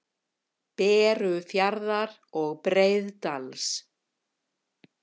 Berufjarðar og Breiðdals.